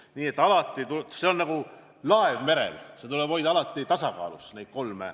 Need kolm mõtet on nagu laev merel, mis tuleb alati hoida tasakaalus.